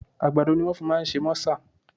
Àgbàdo ni wọ́n fi máa ń ṣe mọ́sà